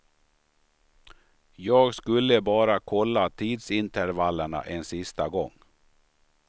Jag skulle bara kolla tidsintervallerna en sista gång.